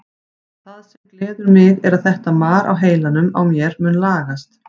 Það sem gleður mig er að þetta mar á heilanum á mér mun lagast.